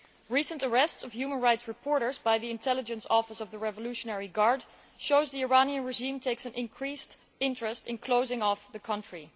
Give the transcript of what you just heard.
Recent arrests of human rights reporters by the intelligence office of the Revolutionary Guard show that the Iranian regime takes an increased interest in closing off the country.